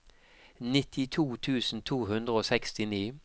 nittito tusen to hundre og sekstini